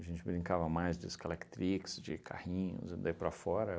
A gente brincava mais de escalactrix, de carrinhos, e daí para fora.